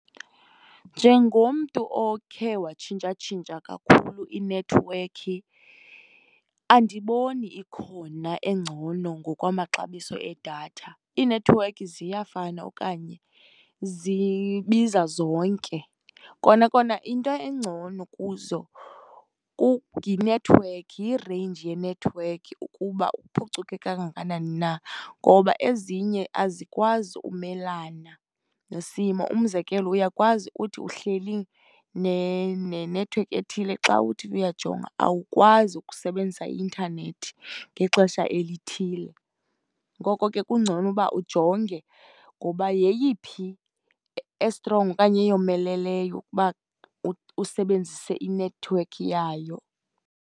Njengomntu okhe watshintshatshintsha kakhulu inethiwekhi andiboni ikhona engcono ngokwamaxabiso edatha, iinethiwekhi ziyafana okanye zibiza zonke. Kona kona into engcono kuzo yinethiwekhi, yi-range yenethiwekhi ukuba iphucuke kangakanani na, ngoba ezinye azikwazi kumelana nesimo. Umzekelo uyakwazi uthi uhleli nenethiwekhi ethile xa uthi uyajonga awukwazi ukusebenzisa i-intanethi ngexesha elithile. Ngoko ke kungcono uba ujonge ngoba yeyiphi esitrongo okanye eyomeleleyo ukuba usebenzise inethiwekhi yayo.